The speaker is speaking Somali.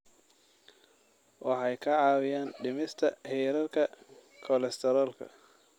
Waxay kaa caawinayaan dhimista heerarka kolestaroolka.